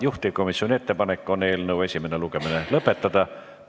Juhtivkomisjoni ettepanek on eelnõu esimene lugemine lõpetada.